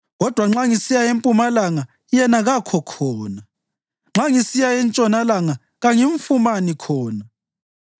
Kodwa nxa ngisiya empumalanga, yena kakho khona; nxa ngisiya entshonalanga, kangimfumani khona.